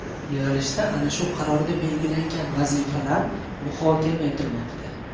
Yig‘ilishda ana shu qarorda belgilangan vazifalar muhokama etilmoqda.